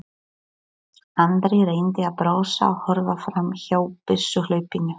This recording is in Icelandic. Andri reyndi að brosa og horfa fram hjá byssuhlaupinu.